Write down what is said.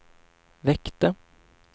väckte